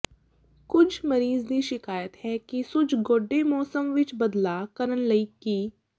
ਕੁਝ ਮਰੀਜ਼ ਦੀ ਸ਼ਿਕਾਇਤ ਹੈ ਕਿ ਸੁੱਜ ਗੋਡੇ ਮੌਸਮ ਵਿਚ ਬਦਲਾਅ ਕਰਨ ਲਈ ਕੀ